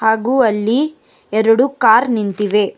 ಹಾಗು ಅಲ್ಲಿ ಎರಡು ಕಾರ್ ನಿಂತಿವೆ.